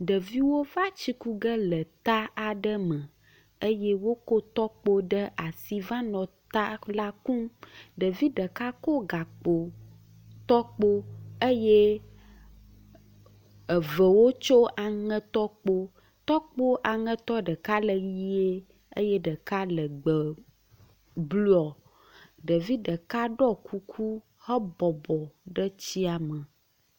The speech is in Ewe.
Ɖeviwo va tsi ku ge le ta aɖe me eye wokɔ tɔkpo ɖe asi va nɔ ta la kum. Ɖevi ɖeka kɔ gakpo tɔkpo eye evewo tsɔ aŋe tɔkpo. Tɔkpo aŋetɔ ɖeka le ʋie eye ɖeka le gbe blɔ. Ɖevi ɖeka ɖɔ kuku hebɔbɔ ɖe tsia me.